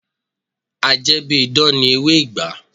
A jẹ́ bí idán ni ewé ìgbá